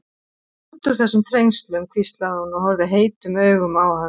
Komum okkur út úr þessum þrengslum hvíslaði hún og horfði heitum augum á hann.